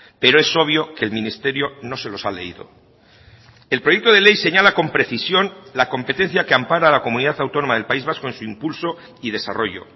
pero es obvio que el ministerio no se los ha leído el proyecto de ley señala con precisión la competencia que ampara la comunidad autónoma del país vasco en su impulso y desarrollo